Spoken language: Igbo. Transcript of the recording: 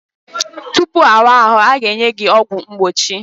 Tupu ịwa ahụ, ị ga-enye ọgwụ mgbochi.